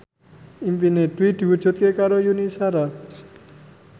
impine Dwi diwujudke karo Yuni Shara